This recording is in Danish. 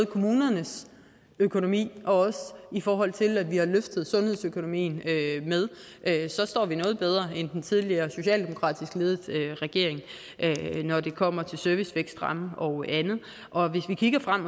kommunernes økonomi og i forhold til at vi har løftet sundhedsøkonomien så står vi noget bedre end den tidligere socialdemokratisk ledede regering når det kommer til servicevækstramme og andet og hvis vi kigger frem